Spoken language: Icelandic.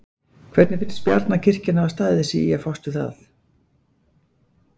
Hvernig finnst Bjarna kirkjan hafa staðið sig í að fást við það?